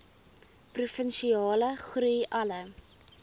provinsiale groei alle